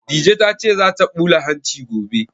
Dije ta ce za ta ɓula hanci gobe